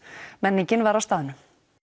menningin var á staðnum